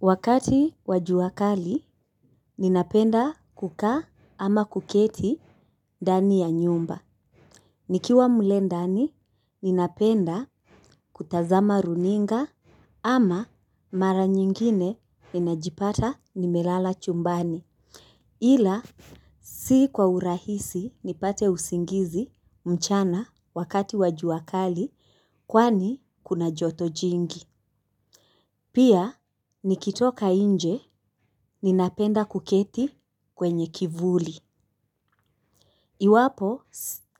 Wakati wa jua kali, ninapenda kukaa ama kuketi ndani ya nyumba. Nikiwa mle ndani, ninapenda kutazama runinga ama mara nyingine ninajipata nimelala chumbani. Ila, si kwa urahisi nipate usingizi mchana wakati wa jua kali kwani kuna joto jingi. Pia nikitoka inje ninapenda kuketi kwenye kivuli. Iwapo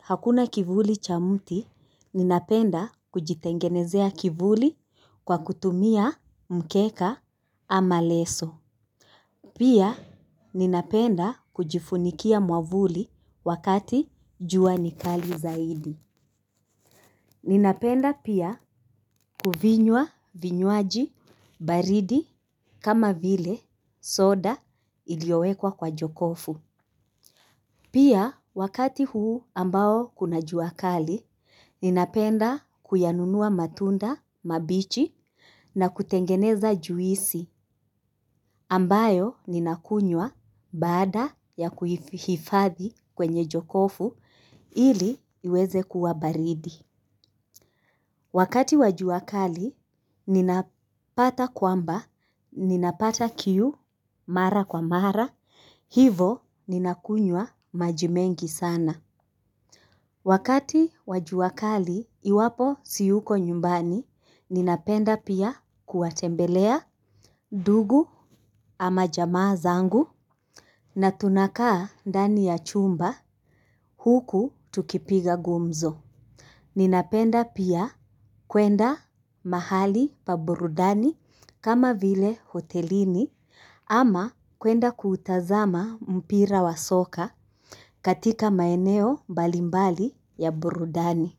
hakuna kivuli cha mti ninapenda kujitengenezea kivuli kwa kutumia mkeka ama leso. Pia ninapenda kujifunikia mwavuli wakati jua ni kali zaidi. Ninapenda pia kuvinywa vinywaji baridi kama vile soda iliowekwa kwa jokofu. Pia wakati huu ambao kuna jua kali, ninapenda kuyanunua matunda mabichi na kutengeneza juisi ambayo ninakunywa baada ya kuhifadhi kwenye jokofu ili iweze kuwa baridi. Wakati wa jua kali, ninapata kwamba, ninapata kiu mara kwa mara, hivo ninakunywa maji mengi sana. Wakati wa jua kali, iwapo siyuko nyumbani, ninapenda pia kuwatembelea ndugu ama jamaa zangu na tunakaa ndani ya chumba huku tukipiga gumzo. Ninapenda pia kwenda mahali pa burudani kama vile hotelini ama kwenda kuutazama mpira wa soka katika maeneo mbalimbali ya burudani.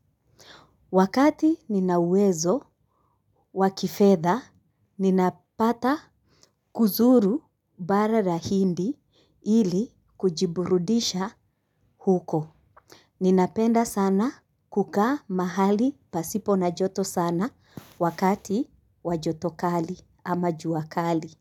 Wakati nina uwezo wa kifedha, ninapata kuzuru bara la hindi ili kujiburudisha huko. Ninapenda sana kukaa mahali pasipo na joto sana wakati wa joto kali ama jua kali.